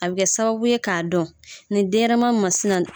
A bɛ kɛ sababu ye k'a dɔn nin denɲɛrɛma masina